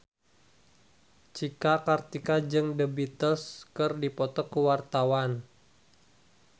Cika Kartika jeung The Beatles keur dipoto ku wartawan